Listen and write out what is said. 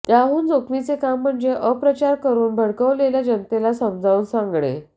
त्याहून जोखमीचे काम म्हणजे अपप्रचार करून भडकवलेल्या जनतेला समजावून सांगणे